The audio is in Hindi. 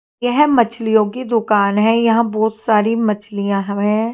यह मछलियों की दुकान है यहां बहोत सारी मछलियां हवे।